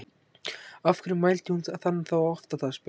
Af hverju mældi hún hann þá oft á dag? spurði Anna.